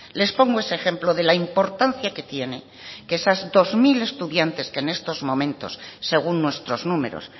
les pongo este ejemplo de la importancia que tiene que esos dos mil estudiantes que en estos momentos según nuestros números